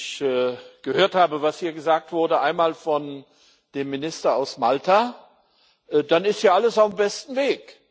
Wenn ich gehört habe, was hier gesagt wurde einmal von dem Minister aus Malta dann ist ja alles auf dem besten Weg.